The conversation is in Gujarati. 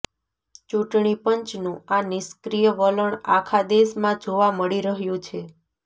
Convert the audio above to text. ચૂંટણી પંચનું આ નિષ્ક્રિય વલણ આખા દેશમાં જોવા મળી રહ્યું છે